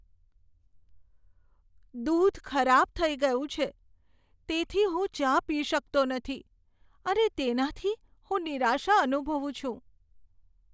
દૂધ ખરાબ થઈ ગયું છે તેથી હું ચા પી શકતો નથી અને તેનાથી હું નિરાશા અનુભવું છું.